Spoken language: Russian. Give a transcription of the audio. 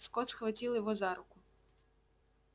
скотт схватил его за руку